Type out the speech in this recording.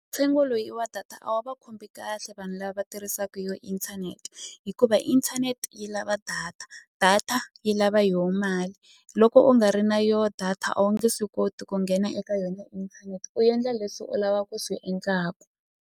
Ntsengo loyi wa data a wu va khumbhi kahle vanhu lava va tirhisaku yo internet hikuva internet yi lava data data yi lava yo mali loko u nga ri na yo data a wu nge swi koti ku nghena eka yona u endla leswi u lava ku swi .